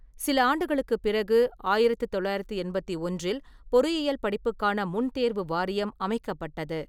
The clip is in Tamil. சில ஆண்டுகளுக்குப் பிறகு ஆயிரத்தி தொள்ளாயிரத்தி எண்பத்தி ஒன்றில் பொறியியல் படிப்புக்கான முன்தேர்வு வாரியம் அமைக்கப்பட்டது.